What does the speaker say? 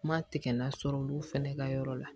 Ma tigɛ la sɔrɔ olu fɛnɛ ka yɔrɔ la